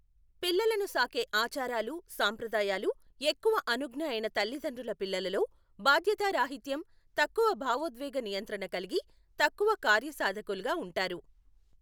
పిల్లలను సాకే ఆచారాలు సంప్రదాయాలు ఎక్కువ అనుజ్ఞయైన తల్లిదండ్రుల పిల్లలలో, బాధ్యతా రాహిత్యం, తక్కువ భావోద్వేక నియంత్రణ కలిగి, తక్కువ కార్యసాధకులుగా ఉంటారు.